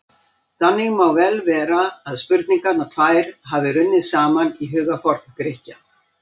Þannig má vel vera að spurningarnar tvær hafi runnið saman í huga Forngrikkja.